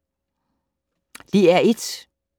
DR1